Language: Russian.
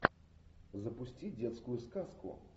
запусти детскую сказку